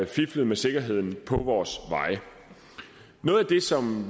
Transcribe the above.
fiflet med sikkerheden på vores veje noget af det som